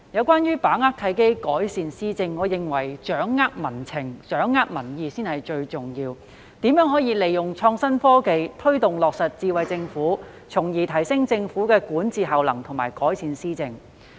關於把握契機，改善施政，我認為政府要掌握民情民意，才是最重要的，並要思考如何利用創新科技，推動落實"智慧政府"，從而提升政府的管治效能和改善施政。